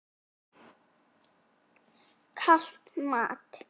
Kalt mat?